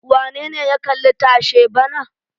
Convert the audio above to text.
Wane ne ya kalli tashe bana?